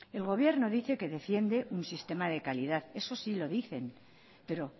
el gobierno dice que defiende un sistema de calidad eso sí lo dicen pero